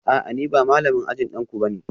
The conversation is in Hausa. A'a ni ba malamin ajin danku ba ne